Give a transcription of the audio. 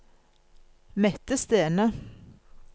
Mette Stene